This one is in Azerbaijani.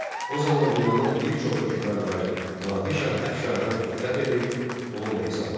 O zaman dünyanın bir çox hökmdarları Nadir şah Əfşardan ehtiyat edir, onunla hesablaşırdı.